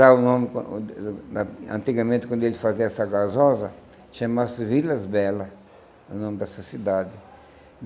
Lá o nome, an antigamente, quando eles faziam essa gasosa, chamava-se Vilas Belas, o nome dessa cidade.